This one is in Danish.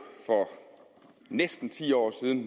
for næsten ti år siden